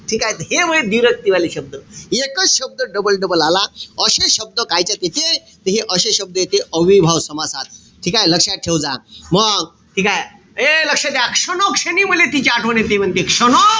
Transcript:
ठीकेय? त हे ए व्दिरक्ती वाले शब्द. एकच शब्द double-double आला. अशे शब्द कायच्यात येते? त हे अशे शब्द येते अव्ययीभाव समासात. ठीकेय? लक्षात ठेवजा. मंग ठीकेय? ए लक्ष द्या. क्षणोक्षणी म्हणे तिची आठवण येते म्हणते. क्षणो,